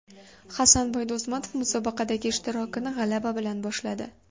Hasanboy Do‘stmatov musobaqadagi ishtirokini g‘alaba bilan boshladi.